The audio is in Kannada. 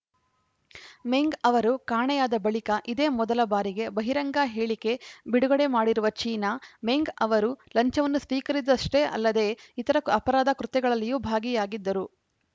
ಮೆಂಗ್‌ ಅವರು ಕಾಣೆಯಾದ ಬಳಿಕ ಇದೇ ಮೊದಲ ಬಾರಿಗೆ ಬಹಿರಂಗ ಹೇಳಿಕೆ ಬಿಡುಗಡೆ ಮಾಡಿರುವ ಚೀನಾ ಮೆಂಗ್‌ ಅವರು ಲಂಚವನ್ನು ಸ್ವೀಕರಿದ್ದಷ್ಟೇ ಅಲ್ಲದೆ ಇತರ ಅಪರಾಧ ಕೃತ್ಯಗಳಲ್ಲಿಯೂ ಭಾಗಿಯಾಗಿದ್ದರು